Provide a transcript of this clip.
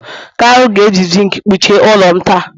kalu ga-eji zinc kpuchie ụlọ m taa